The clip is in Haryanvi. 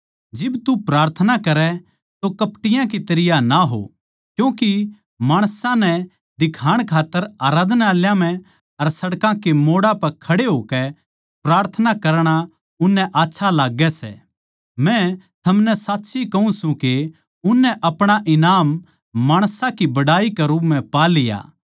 जिब तू प्रार्थना करै तो कपटियाँ के तरियां ना हो क्यूँके माणसां नै दिखाण खात्तर आराधनालयाँ म्ह अर सड़कां कै मोड़ां पै खड़े होकै प्रार्थना करणा उननै आच्छा लाग्गै सै मै थमनै साच्ची कहूँ सूं के उननै अपणा ईनाम माणसां की बड़ाई के रूप म्ह पा लिया